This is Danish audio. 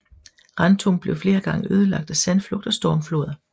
Rantum blev flere gange ødelagt af sandflugt og stormfloder